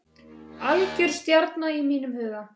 Algjör stjarna í mínum huga.